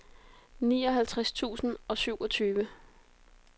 nioghalvtreds tusind og syvogtyve